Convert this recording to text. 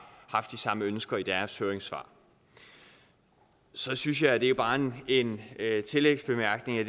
haft de samme ønsker i deres høringssvar så synes jeg og det er bare en en tillægsbemærkning at